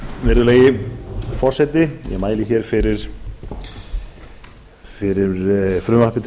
virðulegi forseti ég mæli hér fyrir frumvarpi til laga um breytingu